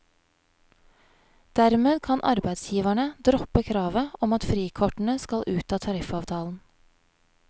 Dermed kan arbeidsgiverne droppe kravet om at frikortene skal ut av tariffavtalen.